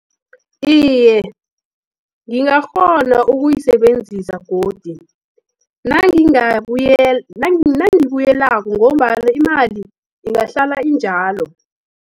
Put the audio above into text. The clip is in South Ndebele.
Iye, ngingakghona ukuyisebenzisa godi, nangibuyelako, ngombana imali ingahlala injalo.